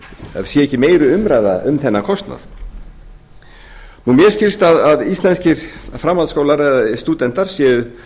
sé ekki meiri umræða um þennan kostnað mér skilst að íslenskir framhaldsskólar eða stúdentar séu